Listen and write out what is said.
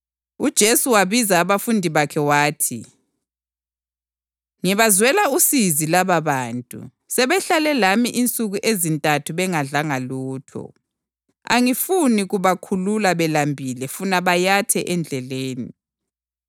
UJesu wabiza abafundi bakhe wathi, “Ngibazwela usizi lababantu; sebehlale lami insuku ezintathu bengadlanga lutho. Angifuni kubakhulula belambile funa bayathe endleleni.”